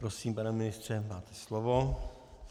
Prosím, pane ministře, máte slovo.